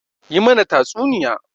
Yi mana tatsuniya!